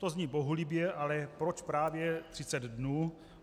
To zní bohulibě, ale proč právě 30 dnů?